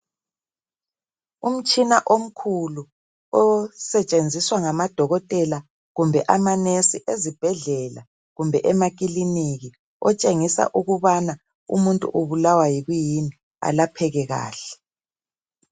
Umtshina omkhulu osetshenziswa ngamadokotela kumbe amanurse ezibhedlela kumbe emakiliniki otshengisa ukubana umuntu ubulawa yikuyini alapheke kahle.